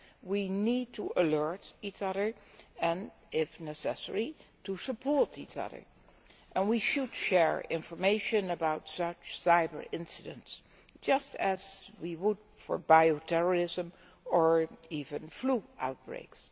We need to alert each other and, if necessary, to support each other. We should share information about such cyber incidents, just as we would for bio terrorism or even flu outbreaks.